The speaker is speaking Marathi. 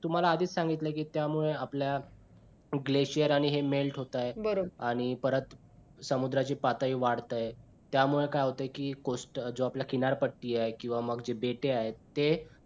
तुम्हाला आधीच सांगितलंय कि त्यामुळे आपल्या glacier आणि हे melt होतायेत आणि परत समुद्राची पातळी वाढते त्या त्यामुळे काय होतंय कि coast जो आपला किनार पट्टी आहे किंवा जे मग बेटे आहेत. ते